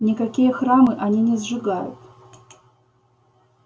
никакие храмы они не сжигают